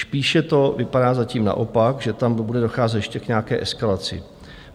Spíše to vypadá zatím naopak, že tam bude docházet ještě k nějaké eskalaci.